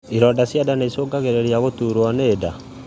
ironda cia nda nĩicũngagĩrĩria gũturwo nĩ nda